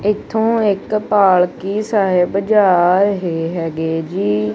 ਇਥੋਂ ਇੱਕ ਪਾਲਕੀ ਸਾਹਿਬ ਜਾ ਰਹੇ ਹੈਗੇ ਜੀ।